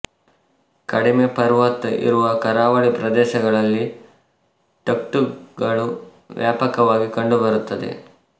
ಕಡಿಮೆ ಪರ್ವತ ಇರುವ ಕರಾವಳಿ ಪ್ರದೇಶಗಳಲ್ಲಿ ಟುಕ್ಟುಕ್ ಗಳು ವ್ಯಾಪಕವಾಗಿ ಕಂಡುಬರುತ್ತವೆ